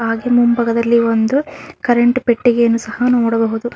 ಹಾಗೆ ಮುಂಭಾಗದಲ್ಲಿ ಒಂದು ಕರೆಂಟ್ ಪೆಟ್ಟಿಗೆಯನ್ನ ಸಹ ನೋಡಬಹುದು.